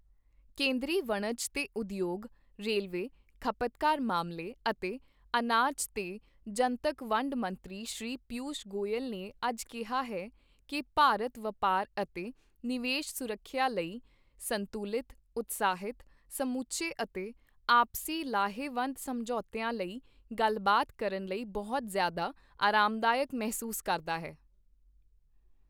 ਕੇਂਦਰੀ ਵਣਜ ਤੇ ਉਦਯੋਗ, ਰੇਲਵੇ, ਖ਼ਪਤਕਾਰ ਮਾਮਲੇ ਅਤੇ ਅਨਾਜ ਤੇ ਜਨਤਕ ਵੰਡ ਮੰਤਰੀ ਸ਼੍ਰੀ ਪੀਯੂਸ਼ ਗੋਇਲ ਨੇ ਅੱਜ ਕਿਹਾ ਹੈ ਕੀ ਭਾਰਤ ਵਪਾਰ ਅਤੇ ਨਿਵੇਸ਼ ਸੁਰੱਖਿਆ ਲਈ ਸੰਤੂਲਿਤ, ਉਤਸ਼ਾਹਿਤ, ਸਮੁੱਚੇ ਅਤੇ ਆਪਸੀ ਲਾਹੇਵੰਦ ਸਮਝੌਤਿਆਂ ਲਈ ਗੱਲਬਾਤ ਕਰਨ ਲਈ ਬਹੁਤ ਜਿ਼ਆਦਾ ਅਰਾਮਦਾਇਕ ਮਹਿਸੂਸ ਕਰਦਾ ਹੈ।